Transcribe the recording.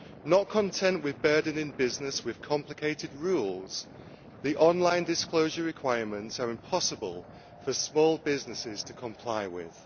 Not content with burdening business with complicated rules, the online disclosure requirements are impossible for small businesses to comply with.